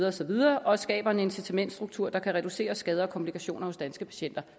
og så videre og skaber en incitamentsstruktur der kan reducere skader og komplikationer hos danske patienter